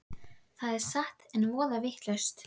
Það er satt. einn voða vitlaus!